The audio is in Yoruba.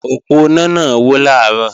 Òponá náà wó làárò